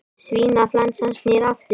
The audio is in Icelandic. Svínaflensan snýr aftur